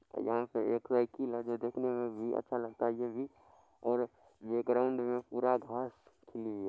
वहां पे एक साइकिल है जो कि देखने मे भी अच्छा लगता हैं ये भी और ये ग्राउन्ड मे पूरा घास खिली है।